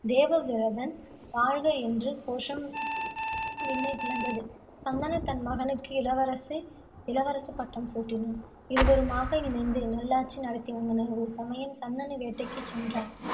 தேவவிரதன் வாழ்க என்று கோஷம் விண்ணைப் பிளந்தது. சந்தனு தன் மகனுக்கு இளவரசு இளவரசு பட்டம் சூட்டினான். இருவருமாக இணைந்து நல்லாட்சி நடத்தி வந்தனர். ஒரு சமயம் சந்தனு வேட்டைக்குச் சென்றான்.